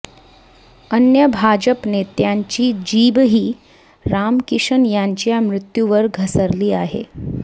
अन्य भाजप नेत्यांची जीभही रामकिशन यांच्या मृत्यूवर घसरली आहे